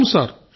అవును సార్